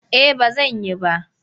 Eh ba zan yi ba.